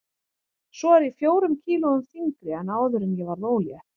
Svo er ég fjórum kílóum þyngri en áður en ég varð ólétt.